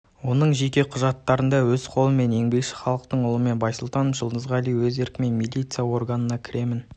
оның жеке құжаттарында өз қолдарымен мен еңбекші халықтың ұлымын байсултанов жұлдызғали өз еркіммен милиция органына кіремін